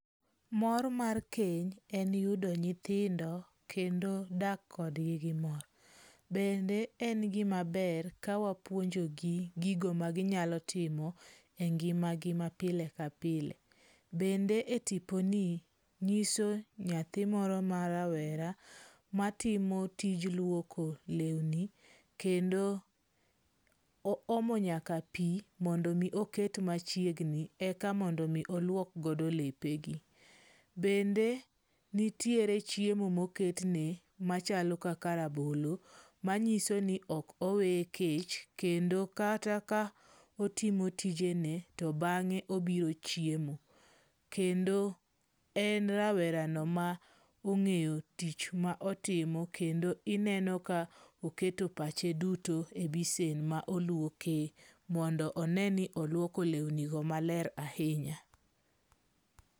Mor mar keny en yudo nyithindo kendo dak kodgi gimor. Bende en gimaber kawapuonjogi gigo ma ginyalo timo e ngimagi ma pile kapile. Bende etiponi nyiso nyathi moro ma rawera matimo tij luoko lewni kendo oomo nyaka pi mondo mi oket machiegni eka mondo mi oluok godo lepegi. Bende nitiere chiemo moketne machalo kaka rabolo manyiso ni ok oweye kech, kendo kata ka otimo tijene, to bang'e obiro chiemo. Kendo en rawerano ma ong'eyo tich ma otimo. Kendo ineno ka oketo pache duto e besen ma oluoke mondo one ni oluoko lewnigo maler ahinya.